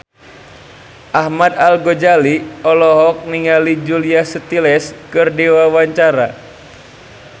Ahmad Al-Ghazali olohok ningali Julia Stiles keur diwawancara